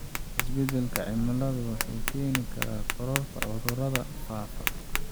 Isbedelka cimiladu wuxuu keeni karaa kororka cudurrada faafa.